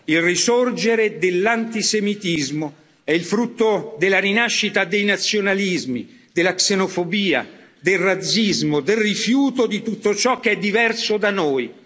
Il risorgere dell'antisemitismo è il frutto della rinascita dei nazionalismi, della xenofobia, del razzismo, del rifiuto di tutto ciò che è diverso da noi.